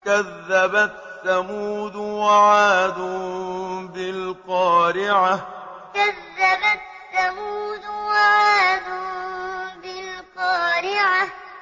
كَذَّبَتْ ثَمُودُ وَعَادٌ بِالْقَارِعَةِ كَذَّبَتْ ثَمُودُ وَعَادٌ بِالْقَارِعَةِ